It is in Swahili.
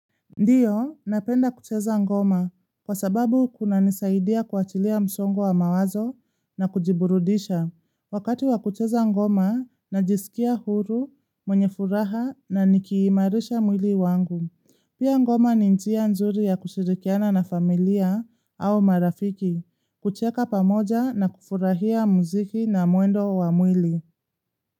Ndiyo, napenda kucheza ngoma kwa sababu kunanisaidia kuachilia msongo wa mawazo na kujiburudisha. Wakati wa kucheza ngoma, najisikia huru, mwenye furaha na nikiimarisha mwili wangu. Pia ngoma ni njia nzuri ya kushirikiana na familia au marafiki, kucheka pamoja na kufurahia muziki na mwendo wa mwili.